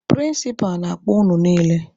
Prịnsịpa na-akpọ unu niile!